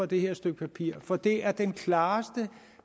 det her stykke papir for det er det klareste og